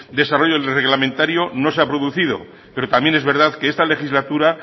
desarrollo reglamentario no se ha producido pero también es verdad que esta legislatura